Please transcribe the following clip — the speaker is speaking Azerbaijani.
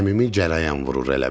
Əmimi cərəyan vurur elə bil.